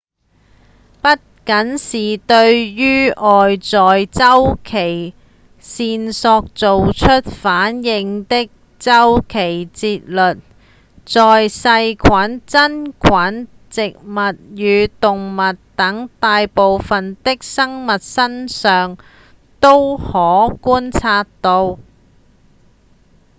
不僅是對於外在週期線索做出反應的週期節律在細菌、真菌、植物與動物等大部分的生物身上都可觀察到